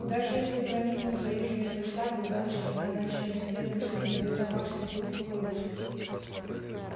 даже если проникнуть за южные заставы удастся надо ещё найти относительно безопасный путь к полису